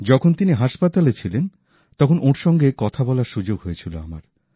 যখন তিনি হাসপাতালে ছিলেন তখন ওঁর সঙ্গে কথা বলার সুযোগ হয়েছিল আমার